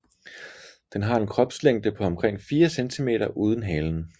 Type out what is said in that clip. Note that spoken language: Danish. Den har en kropslængde på omkring 4 cm uden halen